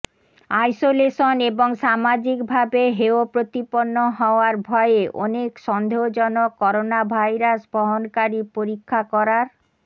isolation এবং সামাজিকভাবে হেয় প্রতিপন্ন হওয়ার ভয়ে অনেক সন্দেহজনক করোনাভাইরাস বহনকারী পরীক্ষা করার